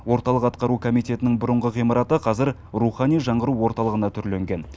орталық атқару комитетінің бұрынғы ғимараты қазір рухани жаңғыру орталығына түрленген